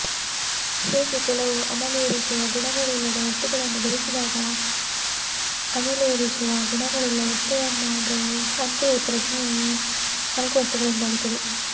ಹೇಗೆ ಕೆಲವು ಅಮಲೇರಿಸುವ ಗುಣಗಳಿಲ್ಲದ ವಸ್ತುಗಳನ್ನು ಬೆರೆಸಿದಾಗ ಅಮೆಲೇರಿಸುವ ಗುಣವುಳ್ಳ ವಸ್ತುವಾಗುವುದೋ ಅಂತೆಯೇ ಪ್ರಜ್ಞೆಯು ಈ ನಾಲ್ಕು ವಸ್ತುಗಳಿಂದಾಗುತ್ತದೆ